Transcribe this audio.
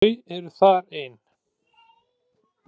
Þau eru þar ein.